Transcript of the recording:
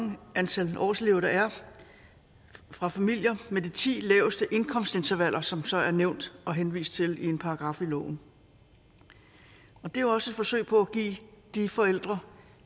et antal årselever der er fra familier med de ti laveste indkomstintervaller som der så er nævnt og henvist til i en paragraf i loven og det er også et forsøg på at give de forældre